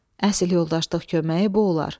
Əsil yoldaşlıq köməyi bu olar.